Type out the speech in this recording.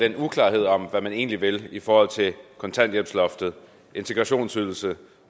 den uklarhed om hvad man egentlig vil i forhold til kontanthjælpsloftet integrationsydelsen og